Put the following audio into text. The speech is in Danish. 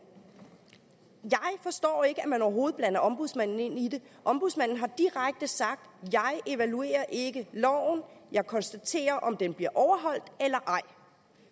jeg forstår ikke at man overhovedet blander ombudsmanden ind i det ombudsmanden har direkte sagt jeg evaluerer ikke loven jeg konstaterer om den bliver overholdt eller ej